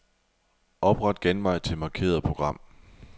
Opret genvej til markerede program.